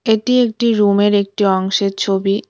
এটি একটি রুমের একটি অংশের ছবি।